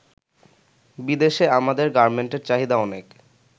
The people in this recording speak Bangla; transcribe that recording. বিদেশে আমাদের গার্মেন্টের চাহিদা অনেক''।